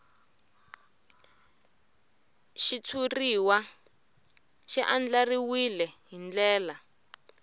xitshuriwa xi andlariwile hi ndlela